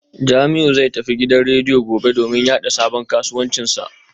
Jamiu zai tafi gidan rediyo gobe domin yada sabon kasuwancinsa